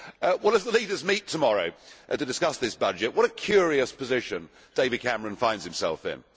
Well, as the leaders meet tomorrow to discuss this budget, what a curious position David Cameron finds himself in.